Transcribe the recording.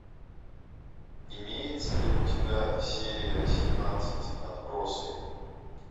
имеется ли у тебя серия семнадцать отбросы